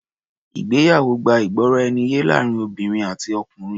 Ìgbéyàwó gbá ìgbọràniye láàrin obìnrin àti ọkùnrin.